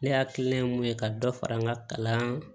Ne hakili la ye mun ye ka dɔ fara n ka kalan